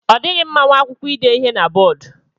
Ọ dịghị mma nwa akwụkwọ ide ihe na bọọdu.